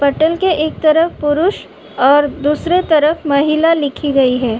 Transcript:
पटल के एक तरफ पुरुष और दूसरे तरफ महिला लिखी गई है।